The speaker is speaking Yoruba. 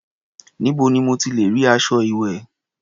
Níbo ni mo ti lẹ̀ rí aṣọ ìwẹ̀?